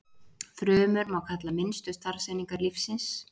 Frumur má kalla minnstu starfseiningar lífsins.